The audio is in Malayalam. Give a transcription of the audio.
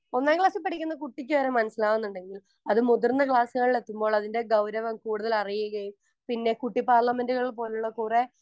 സ്പീക്കർ 1 ഒന്നാം ക്ലാസ്സിൽ പഠിക്കുന്ന കുട്ടിക്ക് വരെ മനസ്സിലാകുന്നുണ്ടെങ്കിൽ അതുമുതിർന്ന ക്ലാസ്സുകളിൽ എത്തുമ്പോൾ അതിൻ്റെ ഗൗരവം കൂടുതൽ അറിയുകയും പിന്നെ കുട്ടി പാർലമെൻറുകൾ പോലുള്ള കുറേ